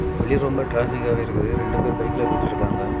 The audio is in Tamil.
வெளியில ரொம்ப டிராபிக்காவே இருக்குது ரெண்டு பேர் பைக்ல போயிட்ருக்காங்க.